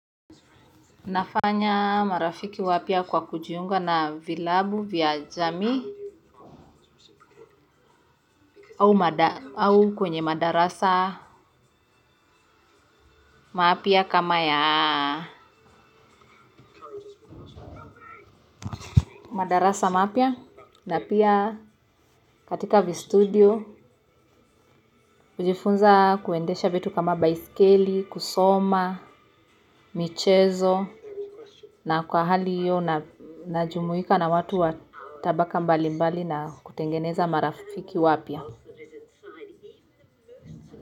Nafanya marafiki wapya kwa kujiunga na vilabu vya jamii au kwenye madarasa mapya kama ya madarasa maapia na pia katika vistudio. Kujifunza kuendeaha vitu kama baiskeli kusoma, michezo na kwa hali hiyo najumuika na watu watabaka mbali mbali na kutengeneza marafiki wapya.